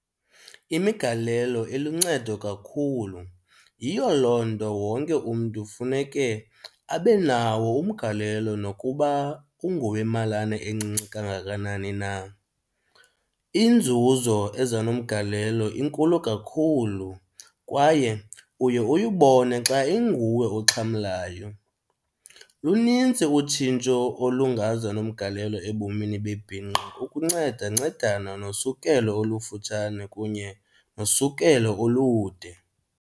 Imigalelo iluncedo kakhulu, yiyo loo nto wonke umntu funeke abe nawo umgalelo nokuba ungowemalana encinci kangakanani na. Inzuzo eza nomgalelo inkulu kakhulu kwaye uye uyibone xa inguwe oxhamlayo. Lunintsi utshintsho olungaza nomgalelo ebomini bebhinqa ukuncedancedana nosukelo olufutshane kunye nosukelo olude.